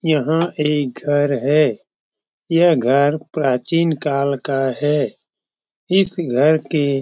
यहाँ ई घर है यह घर प्राचीन काल का है इस घर के --